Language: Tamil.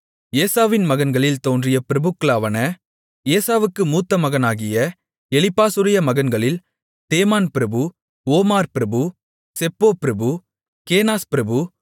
ஏசாவின் மகன்களில் தோன்றிய பிரபுக்களாவன ஏசாவுக்கு மூத்த மகனாகிய எலிப்பாசுடைய மகன்களில் தேமான் பிரபு ஓமார் பிரபு செப்போ பிரபு கேனாஸ் பிரபு